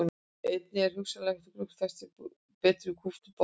Einnig er hugsanlegt að grugg festist betur í kúptum botni.